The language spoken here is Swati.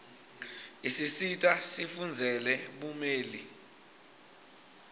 isisita sifundzele bumeli